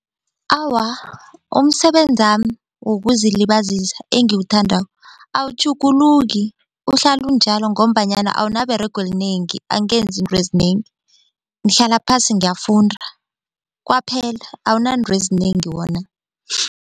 Awa, umsebenzami wokuzilibazisa engiwuthandako awutjhuguluki uhlala unjalo ngombanyana awunaberego elinengi angenzi intwezinengi ngihlala phasi ngiyafunda kwaphela awunantwezinengi wona.